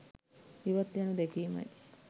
ඉවත්ව යනු දැකීමයි.